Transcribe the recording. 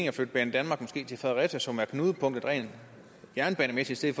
at flytte banedanmark til fredericia som er knudepunktet rent jernbanemæssigt set